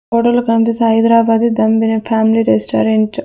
ఫోటోలో కనిపిస్తు Hyderabad dum biryani family restaurant .